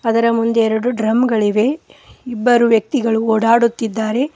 ಅದರ ಮುಂದೆ ಎರಡು ಡ್ರಮ್ ಗಳಿವೆ ಇಬ್ಬರು ವ್ಯಕ್ತಿಗಳು ಓಡಾಡುತ್ತಿದ್ದಾರೆ.